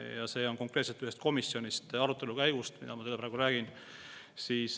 Ja see näide on konkreetselt ühelt komisjoni arutelult, mille ma teile praegu tõin.